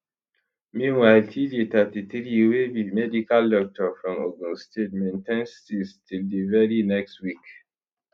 meanwhile tjay 33 wey be medical doctor from ogun state maintain steeze till di very next week